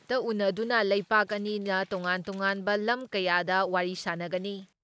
ꯎꯟꯅꯗꯨꯅ ꯂꯩꯕꯥꯛ ꯑꯅꯤꯅ ꯇꯣꯉꯥꯟ ꯇꯣꯉꯥꯟꯕ ꯂꯝ ꯀꯌꯥꯗ ꯋꯥꯔꯤ ꯁꯥꯟꯅꯒꯅꯤ ꯫